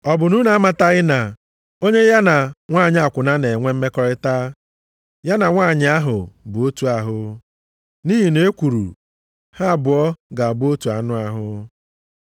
Ọ bụ na unu amataghị na onye ya na nwanyị akwụna na-enwe mmekọrịta, ya na nwanyị ahụ bụ otu ahụ? Nʼihi na e kwuru, “Ha abụọ ga-abụ otu anụ ahụ.” + 6:16 \+xt Jen 2:24\+xt*